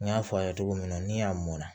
N y'a fɔ a ye cogo min na ni a mɔn na